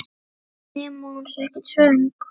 Nema hún sé ekkert svöng.